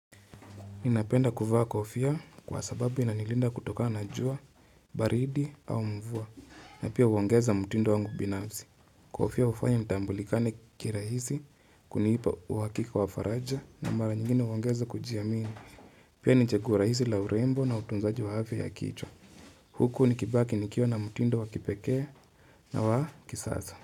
Ninapenda kuvaa kofia kwa sababu inanilinda kutokana na jua, baridi au mvua. Na pia huongeza mtindo wangu binafsi. Kofia hufanya nitambulikane kirahisi kunipa uhakika wa faraja na mara nyingine huongeza kujiamini. Pia ni chaguo rahisi la urembo na utunzaji wa afta ya kichwa. Huku nikibaki nikiwa na mtindo wa kipekee na wa kisasa.